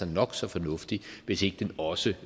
nok så fornuftig hvis ikke den også